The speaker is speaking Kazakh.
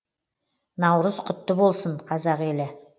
наурыз құтты болсын қазақ елі